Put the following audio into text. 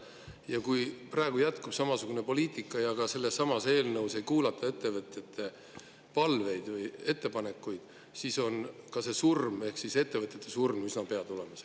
Ja kui praegu jätkub samasugune poliitika ja ka sellesama eelnõu puhul ei kuulata ettevõtjate palveid või ettepanekuid, siis on see surm ehk ettevõtete surm üsna pea tulemas.